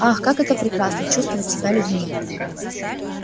ах как это прекрасно чувствовать себя людьми